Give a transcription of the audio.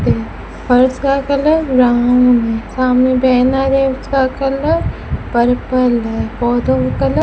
है फर्श का कलर ब्राउन है सामने बैनर है उसका कलर पर्पल है पौधों का कलर --